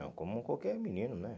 Não, como qualquer menino, né?